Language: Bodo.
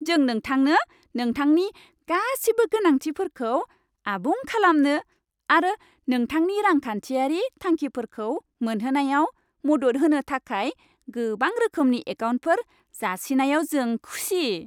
जों नोंथांनो नोंथांनि गासिबो गोनांथिफोरखौ आबुं खालामनो आरो नोंथांनि रांखान्थियारि थांखिफोरखौ मोनहोनायाव मदद होनो थाखाय गोबां रोखोमनि एकाउन्टफोर जासिनायाव जों खुसि।